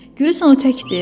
Görəsən o təkdir?